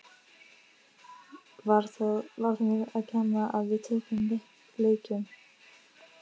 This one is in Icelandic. Var það mér að kenna að við töpuðum leikjum?